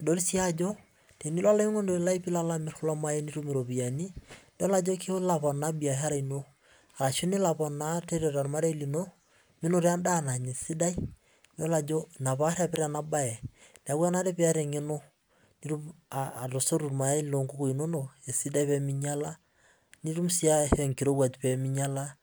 idol si ajo tenilo olaininingoni lai pilo amir kulo mayai niponaa biashara ino arashu nelo aponaa tiatua ormarei lino ina oaarwpita enabae pitumoki atosotu irmayai lonkukui inonok esidai peminyala nitum si aar enkirowuaj peminyala